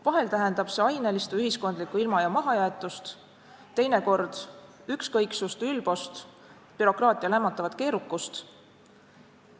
Vahel tähendab see ainelist või ühiskondlikku ilma- ja mahajäetust, teinekord ükskõiksust, ülbust, bürokraatia lämmatavat keerukust.